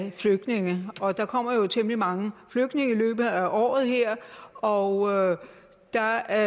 af flygtninge og der kommer jo temmelig mange flygtninge i løbet af året her og der